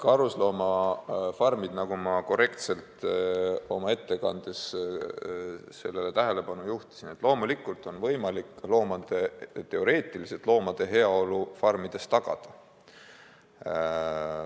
Karusloomafarmides on, nagu ma korrektselt oma ettekandes tähelepanu juhtisin, loomulikult teoreetiliselt võimalik loomade heaolu tagada.